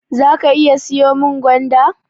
Zaka iya siyo min gwanda?